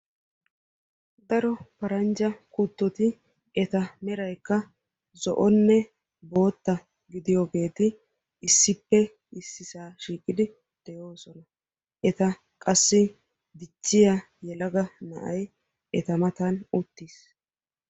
Daro pranjja kuttoti eta meraykka zo"onne boottaa gidiyageeti issippe issisaa shiiqqidi de'oosona. Eta qassi dichchiya yelaga na'ay eta matan uttiis.